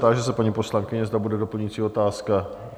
Táži se paní poslankyně, zda bude doplňující otázka?